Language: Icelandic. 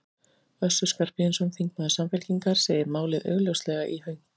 Össur Skarphéðinsson, þingmaður Samfylkingar, segir málið augljóslega í hönk.